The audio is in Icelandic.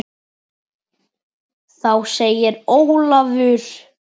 Þá segir Ólafur